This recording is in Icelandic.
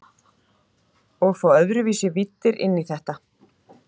Og fá öðruvísi víddir inn í þetta.